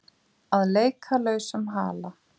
Að leika lausum hala